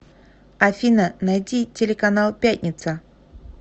афина найти телеканал пятница